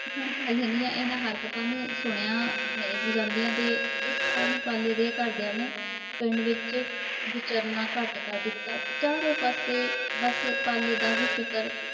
ਹੁਣ ਪਾਲੇ ਦੀਆ ਇਹਨਾਂ ਹਰਕਤਾਂ ਨੂੰ ਸੁਣਿਆ ਨਹੀਂ ਸੀ ਜਾਂਦੀਆਂ ਤੇ। ਜਿਸ ਕਾਰਨ ਪਾਲੇ ਦੇ ਘਰ ਦੀਆ ਨੇ ਪਿੰਡ ਵਿੱਚ ਵਿਚਰਨਾ ਘੱਟ ਕਰ ਦਿੱਤਾ। ਚਾਰੇ ਪਾਸੇ ਬੱਸ ਪਾਲੇ ਦਾ ਹੀ ਜਿਕਰ